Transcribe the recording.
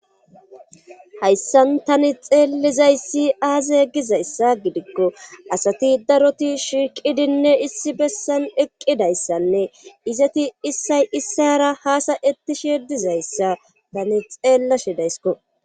Hayssan tani xeellizayssi aaze gizayssa gidikko asati daroti shiiqidinne issi bessan eqqidayssanne izati issay issara haasa ettishe dizayssa tani xeellashe daysko.